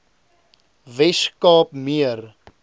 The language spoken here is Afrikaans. wes kaap meer